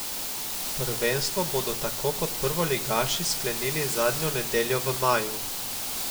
Prvenstvo bodo tako kot prvoligaši sklenili zadnjo nedeljo v maju.